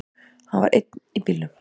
Hann var einn í bílnum.